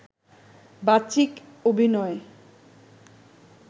বাচিক অভিনয়